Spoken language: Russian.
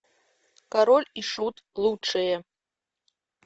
король и шут лучшее